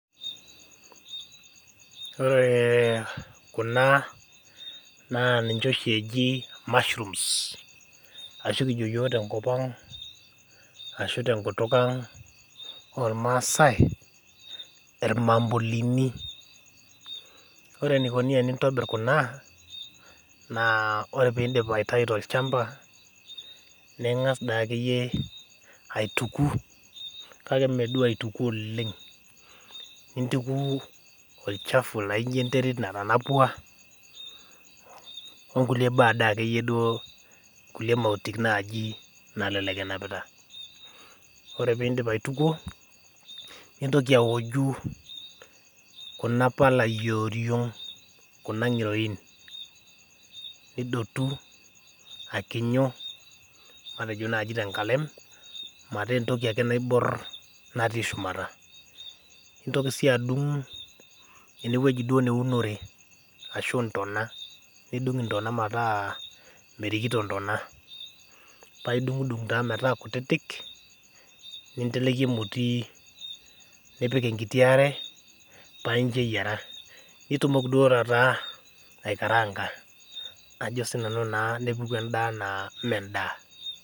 Ore kuna naa ninche oshi eji mushrooms ashu kinok yiok tenkutuk ang ormaasai irmambulini. ore enikoni tenintobir Kuna naa ore tenitau tolchampa ningas dei akeyie aituku kake mee duo aituku oleng, nintuku olchafu laijo enterit natanapua onkulie mautik naaji nalelek enapita. ore pee indip aitukuo nintoki aoju kuna pala eoriong kuna ngiroin ,nidotu akinyu matejo naaji tenkalem metaa entoki ake naibor natii shumata ,nintoki sii adung eneweji duo neunore ashu intona nidung intona metaa merikito intona paa idungudung taa metaa kutitik paa inteleki emoti nipik enkiti are paa incho aiyera .nitumoki duo taata naa aikaranka nepuku enda naa mee endaa.